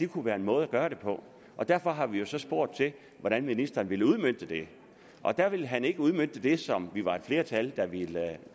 kunne være en måde at gøre det på derfor har vi jo så spurgt til hvordan ministeren ville udmønte det og da ville han ikke udmønte det som vi var et flertal der ville